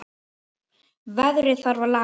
Veðrið þarf að laga.